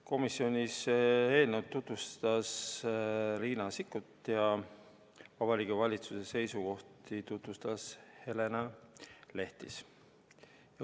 Komisjonis tutvustas eelnõu Riina Sikkut ja Vabariigi Valitsuse seisukohti tutvustas Helena Lehtis.